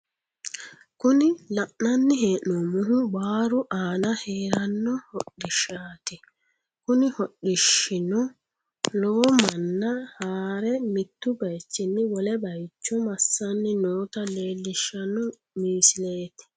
Kuni la'nanni hee'noommohu baaru aana haranno hodhishshaati kuni hodhishshiono lowo manna haare mittu baaychinni wole baaycho massanni noota leellishshano misileeti.